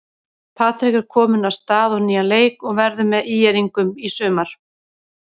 Patrik er kominn af stað á nýjan leik og verður með ÍR-ingum í sumar.